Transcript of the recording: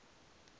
a u gwevha na kana